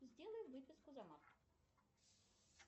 сделай выписку за март